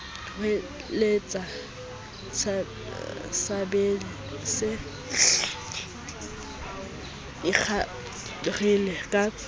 hweletsa sabese se ikgarile ka